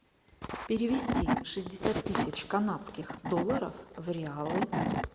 перевести шестьдесят тысяч канадских долларов в реалы